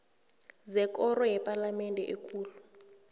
zekoro yepalamende ekulu